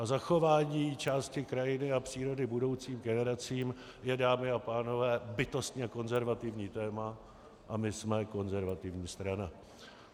A zachování části krajiny a přírody budoucím generacím je, dámy a pánové, bytostně konzervativní téma, a my jsme konzervativní strana.